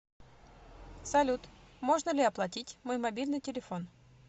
салют можно ли оплатить мой мобильный телефон